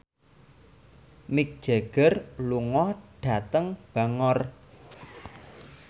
Mick Jagger lunga dhateng Bangor